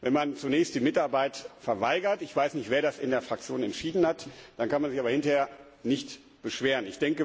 Wenn man zunächst die Mitarbeit verweigert ich weiß nicht, wer das in der Fraktion entschieden hat dann kann man sich hinterher nicht beschweren.